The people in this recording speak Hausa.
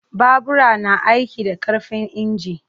Babura na aiki da ƙarfin inji.